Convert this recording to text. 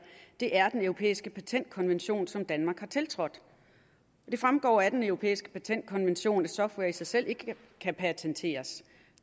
er den europæiske patentkonventionen som danmark har tiltrådt det fremgår af den europæiske patentkonvention at software i sig selv ikke kan patenteres